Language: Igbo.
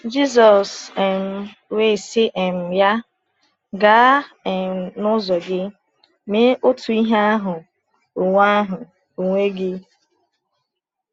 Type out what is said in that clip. Jésù um wee sị um ya: “Gaa um n’ụzọ gị, mee otu ihe ahụ onwe ahụ onwe gị.”